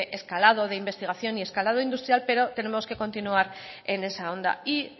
escalado de investigación y escalado industrial pero tenemos que continuar en esa onda y